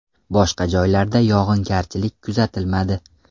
Boshqa joylarda yog‘ingarchilik kuzatilmadi.